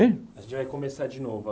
Hein? A gente vai começar de novo.